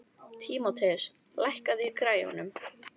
Tímoteus, lækkaðu í græjunum.